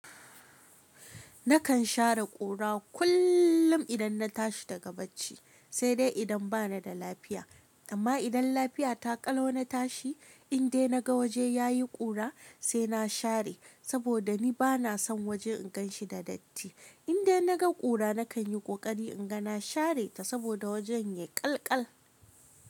Nakan share kura kullum idan na tashi daga bacci, sai dai idan bana da lafiya. Amma idan lafiya ta ƙalau na tashi, in dai naga waje yayi kura sai na share saboda ni bana son waje inganshi da datti. In dai naga kura nakan yi kokari inga na share ta saboda wajen ya yi ƙalƙal.